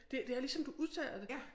Det det er ligesom du udtaler det